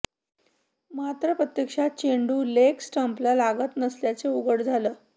मात्र प्रत्यक्षात चेंडू लेग स्टम्पला लागत नसल्याचं उघड झालं